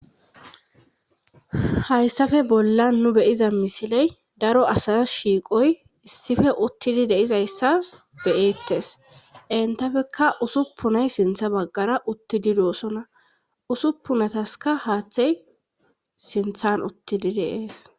Hayssafe bolla nu beyiza misiley daro asaza shiiqoy issife uttidi deizayssa beyeettes entafekka usuppunay sintha baggara uttidi doosona usuppunataska haaththey sinthan uttidi deees